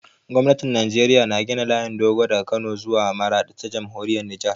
Gwamnatin Najeriya na gina layin dogo daga Kano zuwa Maraɗi ta Jamhuriyar Nijar.